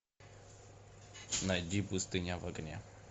найди пустыня в огне